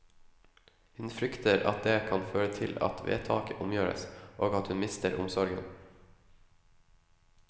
Hun frykter at det kan føre til at vedtaket omgjøres, og at hun mister omsorgen.